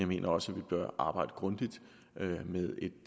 mener også at vi bør arbejde grundigt med